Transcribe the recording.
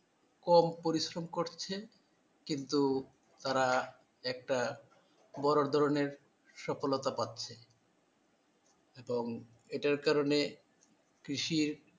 কম পরিশ্রম করছে কিন্তু তারা একটা বড় ধরণের সফলতা পাচ্ছে এবং এটার কারণে কৃষি